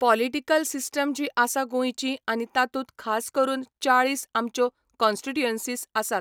Political system जी आसा गोंयची आनी तातूंत खास करून चाळीस आमच्यो कोन्स्टीट्युएंसीस आसात.